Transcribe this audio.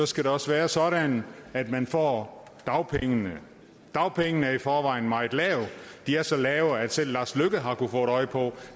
skal det også være sådan at man får dagpengene dagpengene er i forvejen meget lave de er så lave at selv lars løkke rasmussen har kunnet få øje på